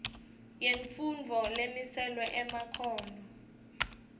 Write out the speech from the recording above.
yemfundvo lemiselwe emakhono